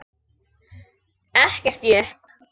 Ekkert jukk.